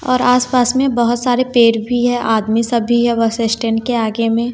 और आस पास में बहोत सारे पेड़ भी है आदमी सब भी है बस स्टैंड के आगे में--